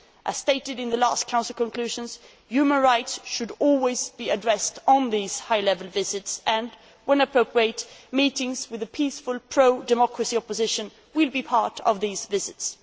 As stated in the last Council conclusions, human rights should always be addressed on these high level visits and, when appropriate, meetings with the peaceful pro democracy opposition will be part of these visits.